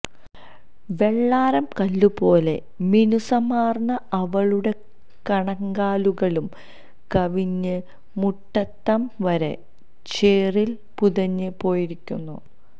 വെള്ളാരം കല്ലുപോലെ മിനുസമാർന്ന അവളുടെ കണങ്കാലുകളും കവിഞ്ഞ് മുട്ടറ്റം വരെ ചേറിൽ പുതഞ്ഞ് പോയിരിക്കുന്നു